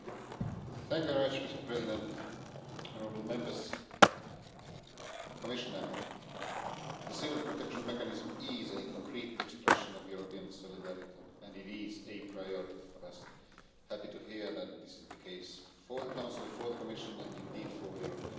Mr President, honourable Members, Commissioner, the civil protection mechanism is a concrete expression of European solidarity, and it is a priority for us. Happy to hear that this is the case for the Council, for the Commission and indeed for the European Parliament.